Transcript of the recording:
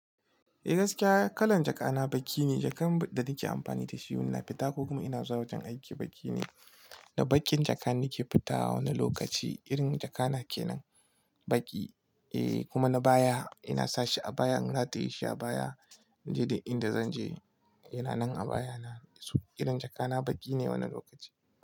Eh gaskiya kalan jaka na baki ne, jakan da nake amfani da shi ina fita ko kuma ina zuwa wajen aiki baki ne. Da bakin jaka nake fita wani lokaci, irin jaka na kenan baki eh kuma na baya ina sashi a baya in rataye shi a baya. Ine dik inda zan je yana nan a baya na, so irin jaka na baki ne wani lokaci.